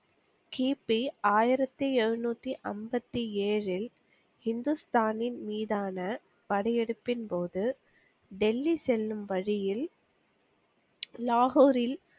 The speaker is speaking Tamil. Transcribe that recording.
கி. பி. ஆயிரத்தி எழுநூத்தி அம்பத்தி ஏழில் ஹிந்துஸ்தானின் மீதானா படையெடுப்பின் போது டெல்லி செல்லும் வழியில் லாகூரில்,